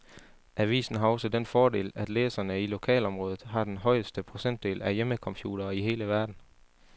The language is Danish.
Avisen har også den fordel, at læserne i lokalområdet har den højeste procentdel af hjemmecomputere i hele verden.